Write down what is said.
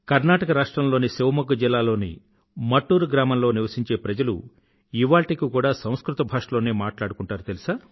కర్ణాటక రాష్ట్రం లోని శివమోగ జిల్లాలోని మట్టూరు గ్రామంలో నివసించే ప్రజలు ఇవాళ్టికి కూడా సంస్కృత భాషలోనే మాట్లాడుకుంటారు